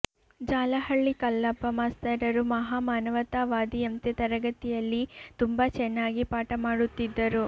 ಜಾಲಹಳ್ಳಿ ಕಲ್ಲಪ್ಪ ಮಾಸ್ತರರು ಮಹಾ ಮಾನವತಾವಾದಿಯಂತೆ ತರಗತಿಯಲ್ಲಿ ತುಂಬಾ ಚೆನ್ನಾಗಿ ಪಾಠಮಾಡುತ್ತಿದ್ದರು